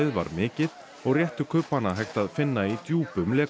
var mikið og réttu kubbana hægt að finna í djúpum